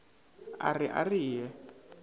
a re a re ye